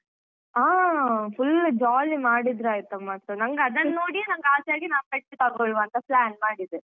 ಆ full jolly ಮಾಡಿದ್ರೈತ ಮತ್ತೆ ನಂಗ್ ಅದನ್ನ್ ನೋಡಿಯೆ ನಂಗ್ ಆಸೆ ಆಗಿ ನಾನ್ pet ತಗೊಳ್ವಾ ಅಂತ plan ಮಾಡಿದೆ.